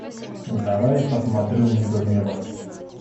давай я посмотрю мне бы в небо